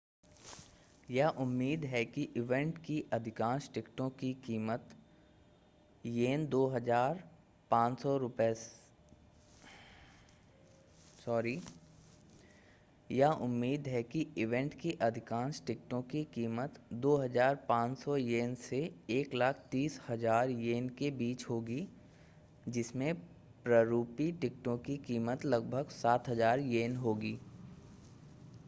यह उम्मीद है कि ईवेंट की अधिकांश टिकटों की कीमत ¥ 2,500 से ¥130,000 के बीच होगी जिसमें प्ररूपी टिकटों की कीमत लगभग ¥7,000 होगी।